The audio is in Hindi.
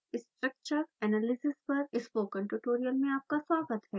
structure analysis पर स्पोकन ट्यूटोरियल में आपका स्वागत है